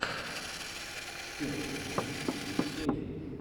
первая серия кэти перри